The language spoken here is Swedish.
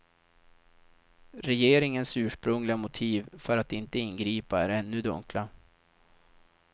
Regeringens ursprungliga motiv för att inte ingripa är ännu dunkla.